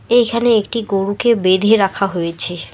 এইখানে একটি গরুকে বেঁধে রাখা হয়েছে।